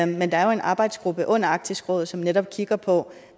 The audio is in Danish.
men der er jo en arbejdsgruppe under arktisk råd som netop kigger på